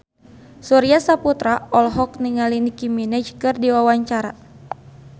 Surya Saputra olohok ningali Nicky Minaj keur diwawancara